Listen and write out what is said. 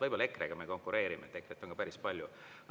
Võib-olla EKRE-ga me konkureerime, EKRE-t on ka päris palju.